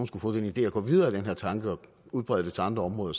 skulle få den idé at gå videre med den her tanke og udbrede det til andre områder